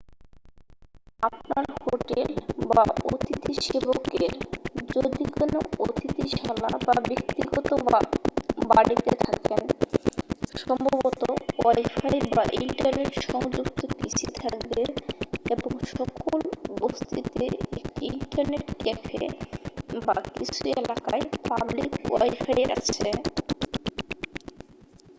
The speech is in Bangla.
আপনার হোটেল বা অতিথিসেবকের যদি কোন অতিথিশালা বা ব্যক্তিগত বাড়িতে থাকেন সম্ভবত ওয়াইফাই বা ইন্টারনেট সংযুক্ত পিসি থাকবে এবং সকল বসতিতে একটি ইন্টারনেট ক্যাফে বা কিছু এলাকায় পাবলিক ওয়াইফাই আছে।